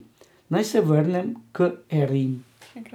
Naj se vrnem k Erin.